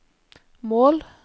mål